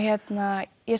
ég